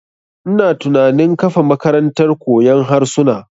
Ina tunanin kafa makarantar koyon harsuna.